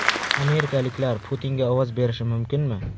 Amerikaliklar Putinga ovoz berishi mumkinmi?